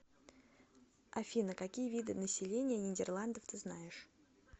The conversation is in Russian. афина какие виды население нидерландов ты знаешь